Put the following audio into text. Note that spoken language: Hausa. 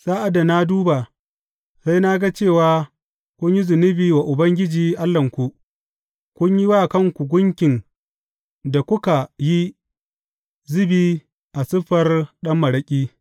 Sa’ad da na duba, sai na ga cewa kun yi zunubi wa Ubangiji Allahnku; kun yi wa kanku gunkin da kuka yi zubi a siffar ɗan maraƙi.